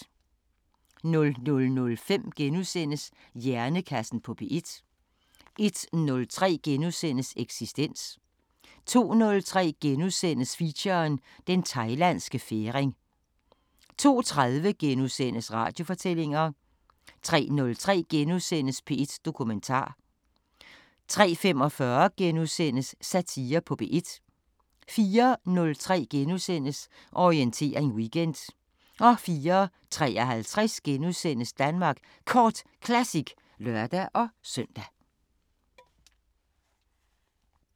00:05: Hjernekassen på P1 * 01:03: Eksistens * 02:03: Feature: Den Thailandske Færing * 02:30: Radiofortællinger * 03:03: P1 Dokumentar * 03:45: Satire på P1 * 04:03: Orientering Weekend * 04:53: Danmark Kort Classic *(lør-søn)